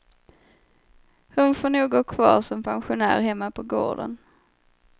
Hon får nog gå kvar som pensionär hemma på gården.